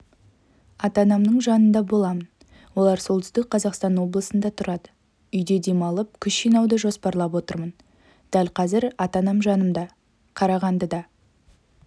ата-анамның жанында боламын олар солтүстік қазақстан облысында тұрады үйде демалып күш жинауды жоспарлап отырмын дәл қазір ата-анам жанымда қарағандыда